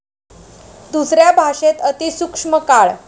दुसऱ्या भाषेत अतिसूक्ष्म काळ